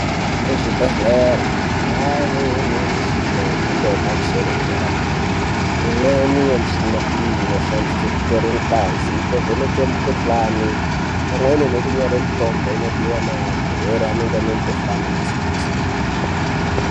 Kuzvibhedhlera kwave nemuchina yemhando ye pamusoro yedera-dera. Imweni yemichini iyi inoshandiswe kutora ngazi, kuvheneke mikhuhlani imweni nekunyora mitombo inodiwa ngevarwere vanenge vane mikhuhlani yakasiyana-siyana.